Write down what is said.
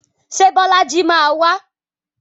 Ṣé Bọ́lájí máa wá?